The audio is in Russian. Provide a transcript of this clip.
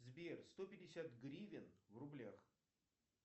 сбер сто пятьдесят гривен в рублях